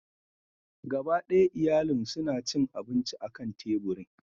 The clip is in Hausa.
Gaba ɗaya iyalin suna cin abinci akan teburin.